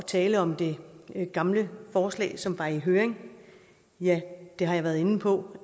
tale om det gamle forslag som var i høring at ja det har jeg været inde på